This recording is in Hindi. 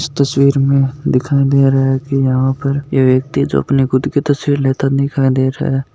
इस तस्वीर में दिखाय दे रहा है की यह व्यक्ति जो अपनी खुद की तस्वीर लेता दिखाय दे रहा है।